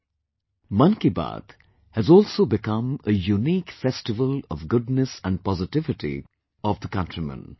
'Mann Ki Baat' has also become a unique festival of goodness and positivity of the countrymen